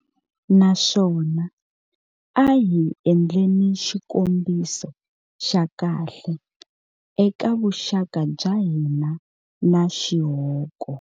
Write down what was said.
Naswona a hi endleni xikombiso xa kahle eka vuxaka bya hina na xihoko.